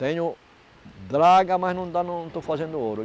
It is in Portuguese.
Tenho dragas, mas ainda não estou fazendo ouro.